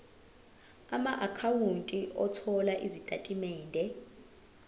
amaakhawunti othola izitatimende